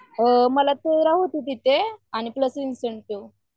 मला तेरा होती तिथे आणि प्लस इन्सेन्टिव्ह